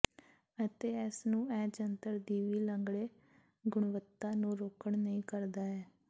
ਅਤੇ ਇਸ ਨੂੰ ਇਹ ਜੰਤਰ ਦੀ ਵੀ ਲੰਗੜੇ ਗੁਣਵੱਤਾ ਨੂੰ ਰੋਕਣ ਨਹੀ ਕਰਦਾ ਹੈ